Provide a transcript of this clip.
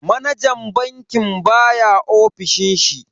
Manajan bankin baya ofishin shi.